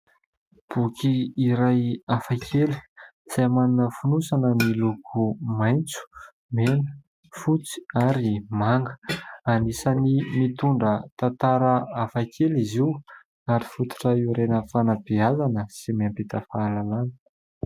Boky iray hafa kely izay manana fonosana miloko maitso, mena, fotsy ary manga. Anisan'ny mitondra tantara hafa kely izy io ary fototra hiorenan'ny fanabeazana sy mampita fahalalana.